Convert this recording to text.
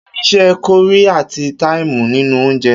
Kí ni is̩é̩ ko̩rí àti táìmù nínú oúnje?